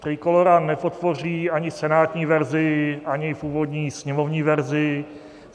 Trikolóra nepodpoří ani senátní verzi, ani původní sněmovní verzi.